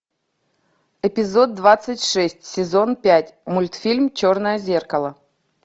эпизод двадцать шесть сезон пять мультфильм черное зеркало